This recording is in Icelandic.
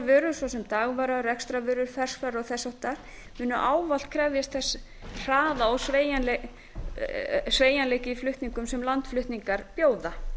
vörur svo sem dagvara rekstrarvörur ferskvara og þess háttar munu ávallt krefjast þess hraða og sveigjanleika í flutningum sem landflutningar bjóða